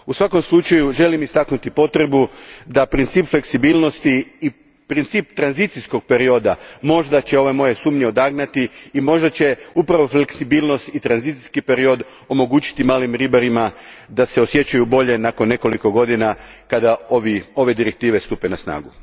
U svakom slučaju, želim istaknuti potrebu da će princip fleksibilnosti i princip tranzicijskog perioda možda odagnati moje sumnje i možda će upravo fleksibilnost i tranzicijski period omogućiti malim ribarima da se osjećaju bolje nakon nekoliko godina kada ove direktive stupe na snagu.